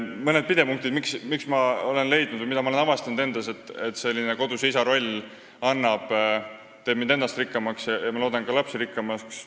Mõned pidepunktid, miks olen avastanud, et koduse isa roll teeb mind ennast – ja ma loodan, et ka lapsi – rikkamaks.